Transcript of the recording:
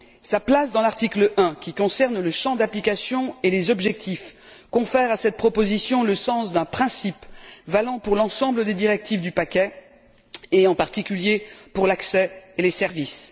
Sa place dans l'article 1 qui concerne le champ d'application et les objectifs confère à cette proposition le sens d'un principe valant pour l'ensemble des directives du paquet, en particulier pour l'accès et les services.